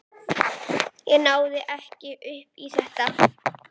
Ég náði ekki upp í þetta.